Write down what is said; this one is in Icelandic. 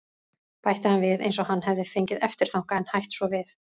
.- bætti hann við eins og hann hefði fengið eftirþanka en hætt svo við.